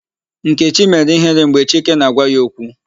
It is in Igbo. Nkechi mere ihere mgbe Chike na-agwa ya okwu.